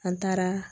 An taara